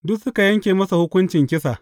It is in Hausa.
Duka suka yanke masa hukuncin kisa.